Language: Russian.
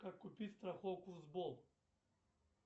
как купить страховку сбол